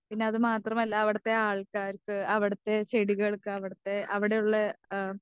പിന്നെ അതുമാത്രമല്ല അവിടുത്തെ ആൾക്കാർക്ക്, അവിടുത്തെ ചെടികൾക്ക് അവിടുത്തെ ആ അവിടെയുള്ള ആം